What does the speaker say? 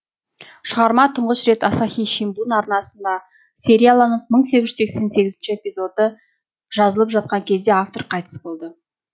шығарма тұңғыш рет асахи симбун арнасында серияланып мың сексен сегізінші эпизоды жазылып жатқан кезде автор қайтыс болды